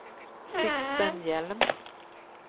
Sixten Hjelm